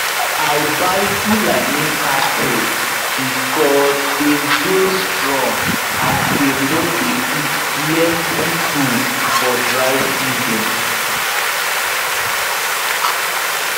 i buy fulani cattle because dem dey strong and dem nor dey eat plenty food for dry season